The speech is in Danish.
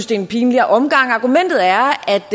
det er en pinlig omgang argumentet er